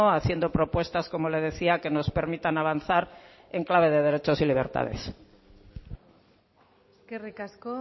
haciendo propuestas como le decía que nos permitan avanzar en clave de derechos y libertades eskerrik asko